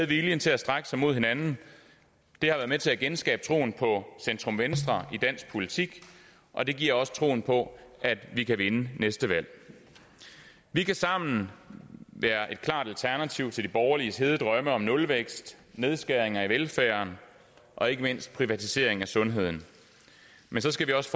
viljen til at strække sig mod hinanden det har været med til at genskabe troen på centrum venstre i dansk politik og det giver også troen på at vi kan vinde næste valg vi kan sammen være et klart alternativ til de borgerliges hede drømme om nulvækst nedskæringer i velfærden og ikke mindst privatisering af sundheden men så skal vi også